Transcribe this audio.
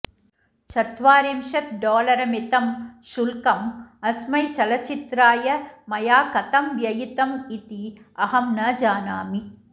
चत्वारिंशत् डोलरमितं शुल्कम् अस्मै चलचित्राय मया कथं व्ययितम् इति अहं न जानामि